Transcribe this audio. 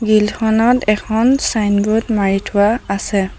Grill খনত এখন signboard মাৰি থোৱা আছে।